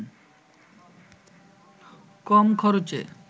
কম খরচে